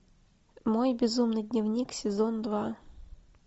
мой безумный дневник сезон два